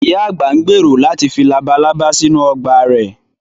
Ìyá àgbà ń gbèrò láti fi labalábá sínú ọgbà rẹ̀